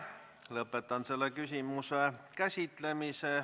Lõpetan selle küsimuse käsitlemise.